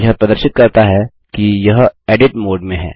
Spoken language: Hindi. यह प्रदर्शित करता है कि यह एडिट मोड में है